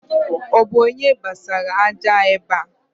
Ọ bu onye gbasara aja ebe a?